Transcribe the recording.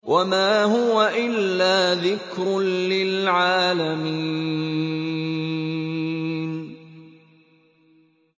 وَمَا هُوَ إِلَّا ذِكْرٌ لِّلْعَالَمِينَ